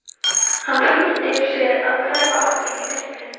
Hann flýtir sér að hverfa aftur inn í myrkrið.